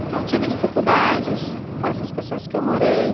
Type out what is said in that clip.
Então, eu tive dificuldades com essas pessoas que eu morei.